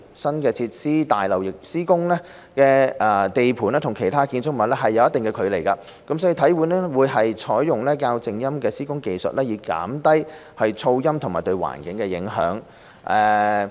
新設施大樓施工地盤與其他的建築物有一定的距離，體院會採用較靜音的施工技術以減低噪音及對環境的影響。